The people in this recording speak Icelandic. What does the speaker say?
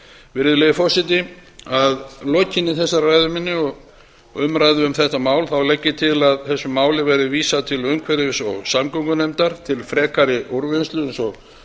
virðulegi forseti að lokinni þessari ræðu minni og umræðu um þetta mál legg ég til að þessu máli verði vísað til umhverfis og samgöngunefndar til frekari úrvinnslu eins og